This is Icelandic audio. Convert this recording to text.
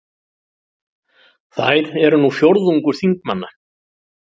Þær eru nú fjórðungur þingmanna